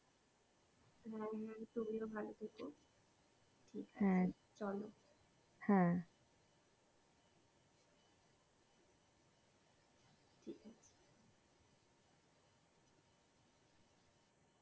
হ্যাঁ হ্যাঁ তুমিও ভালো থেকো ঠিকাছে চলো